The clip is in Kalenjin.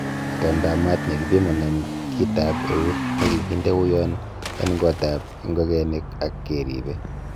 Itondab maat kepimonen kitab eut, nekikinde uyaan en gotab ingogenik ak keriibe.